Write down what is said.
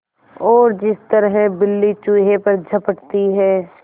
और जिस तरह बिल्ली चूहे पर झपटती है